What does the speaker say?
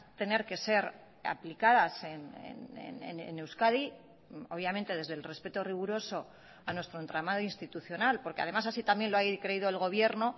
tener que ser aplicadas en euskadi obviamente desde el respeto riguroso a nuestro entramado institucional porque además así también lo ha creído el gobierno